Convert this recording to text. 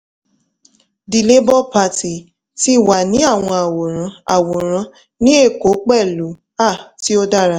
the labour party ti wa ni awọn aworan aworan ni èkó pẹlu a ti o dara